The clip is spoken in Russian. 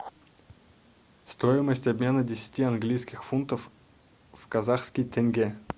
стоимость обмена десяти английских фунтов в казахский тенге